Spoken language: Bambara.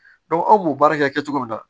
anw b'o baara kɛ cogo min na